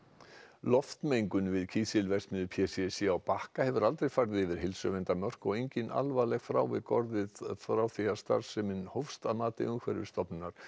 loftmengun við kísilverksmiðju p c c á Bakka hefur aldrei farið yfir heilsuverndarmörk og engin alvarleg frávik orðið frá því starfsemin hófst að mati Umhverfisstofnunar